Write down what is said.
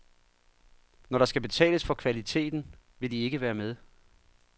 Når der skal betales for kvaliteten, vil de ikke være med.